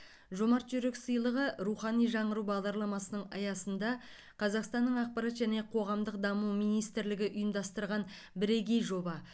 жомарт жүрек сыйлығы рухани жаңғыру бағдарламасының аясында қазақстанның ақпарат және қоғамдық даму министрлігі ұйымдастырған бірегей жоба